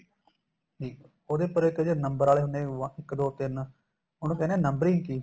ਜੀ ਉਹਦੇ ਉਪਰ ਇੱਕ ਜਿਹੜੇ number ਵਾਲੇ ਹੁੰਨੇ ਏ ਇੱਕ ਦੋ ਤਿੰਨ ਉਹਨੂੰ ਕਹਿਨੇ ਏ numbering key